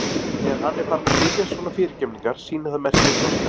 Þegar hann er farinn að biðjast svona fyrirgefningar sýnir það merki um þroska.